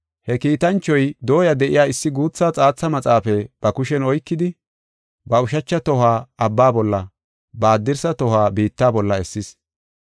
He kiitanchoy dooya de7iya issi guutha xaatha maxaafaa ba kushen oykidi, ba ushacha tohuwa abba bolla, ba haddirsa tohuwa biitta bolla essis.